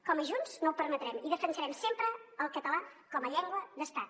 com a junts no ho permetrem i defensarem sempre el català com a llengua d’estat